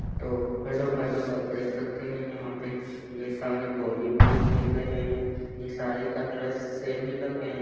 तो hello hello आप देख सकते है यहाँ पे ये सारे बोलिबोल खेल रहे है ये सारे के ड्रेस सेम ही लग रहे है।